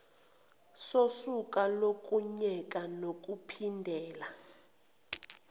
sosuku lokuyeka nokuphindela